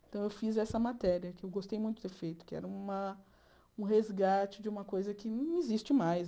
Então eu fiz essa matéria, que eu gostei muito de ter feito, que era uma um resgate de uma coisa que não existe mais.